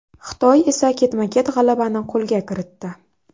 Xitoy esa ketma-ket g‘alabani qo‘lga kiritdi.